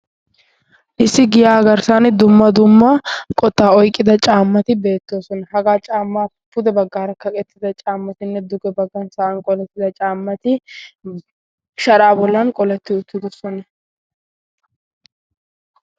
issi giyaa agarssan dumma dumma qottaa oyqqida caammati beettoosona. hagaa caamma pude baggaarakkaqettida caammatinne duge baggan sa' an qolettida caammati sharaa bollan qoletti uttigussona.